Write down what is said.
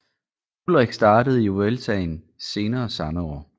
Ullrich startede i Vueltaen senere samme år